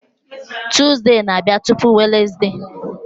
Tuzdee na-abịa tupu Wenezde